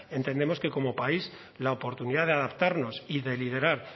entendemos que como país la oportunidad de adaptarnos y de liderar